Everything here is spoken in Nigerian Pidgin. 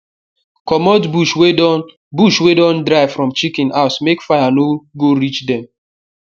commot bush wey don bush wey don dry from chicken house make fire no go reach them